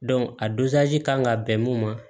a kan ka bɛn mun ma